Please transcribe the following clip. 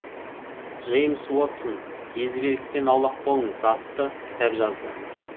джеймс уотсон езбеліктен аулақ болыңыз атты кітап жазды